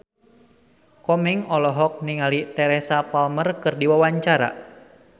Komeng olohok ningali Teresa Palmer keur diwawancara